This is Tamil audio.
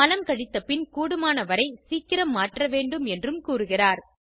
மலம் கழித்த பின் கூடுமானவரை சீக்கிரம் மாற்ற வேண்டும் என்றும் கூறுகிறார்